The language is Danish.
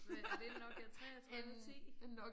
Hvad er det en Nokia 33 10?